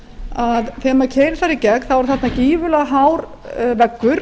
að þegar maður keyrir þarna í gegn þá er þarna gífurlega hár veggur